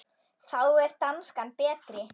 Þá er danskan betri.